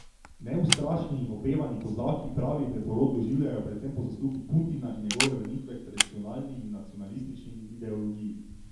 Neustrašni in opevani kozaki pravi preporod doživljajo predvsem po zaslugi Putina in njegove vrnitve k tradicionalni in nacionalistični ideologiji.